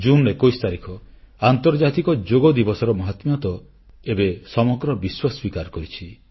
June 21 ତାରିଖ ଆନ୍ତର୍ଜାତିକ ଯୋଗ ଦିବସର ମହାତ୍ମ୍ୟ ତ ଏବେ ସମଗ୍ର ବିଶ୍ୱ ସ୍ୱୀକାର କରିଛି